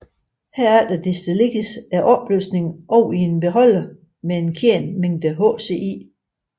Herefter destilleres opløsningen over i en beholder med en kendt mængde HCl